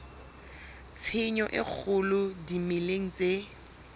tshenyo e kgolo dimeleng tse